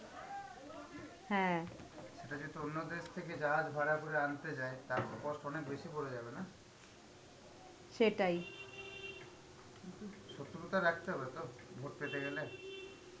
সেটা যেহেতু অন্য দেশ থেকে জাহাজ ভাড়া করে আনতে যায়, তার তো cost অনেক বেশি পড়ে যাবে না. কিন্তু শত্রুতা রাখতে হবে তো vote পেতে গেলে.